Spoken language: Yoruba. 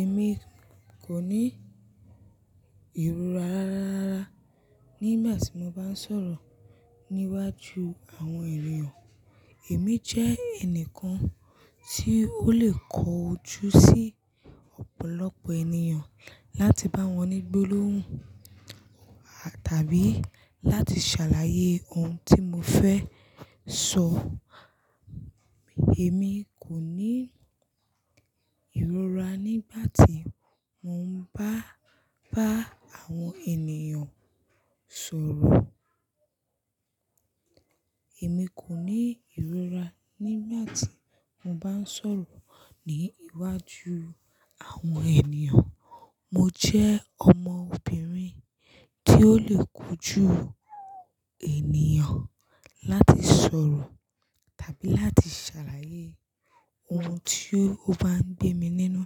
Èmi kò ní ìrora rara rara nígbà tí mo bá ń sọ̀rọ̀ níwájú àwọn ènìyàn. Èmi jẹ́ ẹnìkan tí ó lè kọjú sí ọ̀pọ̀lọpọ̀ ènìyàn láti bá wọn ní gbólóhùn à tàbí láti ṣàlàyé ohun tí mo fẹ́ sọ. Èmi kò ní ìrora nígbà tí mo ń bá, bá àwọn ènìyàn sọ̀rọ̀. Èmi kò ní ìrora nígbà tí mo bá ń sọ̀rọ̀ ní iwájú àwọn ènìyàn. Mo jẹ́ ọmọbìnrin tí ó lè kojú ènìyàn láti sọ̀rọ̀ tàbí láti ṣàlàyé ohun tí ó bá ń gbé mi nínú.